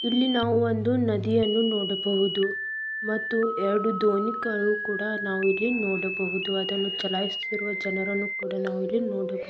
ಇಲ್ಲಿ ನಾವು ಒಂದು ನದಿಯನ್ನು ನೋಡಬಹುದು ಮತ್ತು ಎರಡು ದೋಣಿಗಳು ಕುಡಾ ನಾವು ಇಲ್ಲಿ ನೋಡಬಹುದು ಅದನ್ನು ಚಲಯಿಸುತ್ತಿರುವ ಜನರನ್ನು ಕುಡಾ ನಾವು ಇಲ್ಲಿ ನೋಡಬಹುದು.